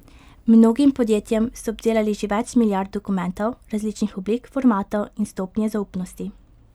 Mnogim podjetjem so obdelali že več milijard dokumentov različnih oblik, formatov in stopnje zaupnosti.